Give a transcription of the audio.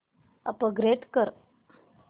upgrade कर